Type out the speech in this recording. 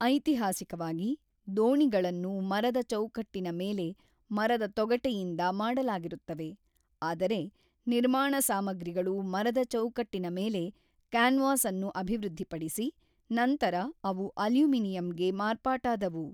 ಐತಿಹಾಸಿಕವಾಗಿ, ದೋಣಿಗಳನ್ನು ಮರದ ಚೌಕಟ್ಟಿನ ಮೇಲೆ ಮರದ ತೊಗಟೆಯಿಂದ ಮಾಡಲಾಗಿರುತ್ತವೆ, ಆದರೆ ನಿರ್ಮಾಣ ಸಾಮಗ್ರಿಗಳು ಮರದ ಚೌಕಟ್ಟಿನ ಮೇಲೆ ಕ್ಯಾನ್ವಾಸ್ ಅನ್ನು ಅಭಿವೃದ್ಧಿಪಡಿಸಿ, ನಂತರ ಅವು ಅಲ್ಯೂಮಿನಿಯಂಗೆ ಮಾರ್ಪಾಟಾದವು.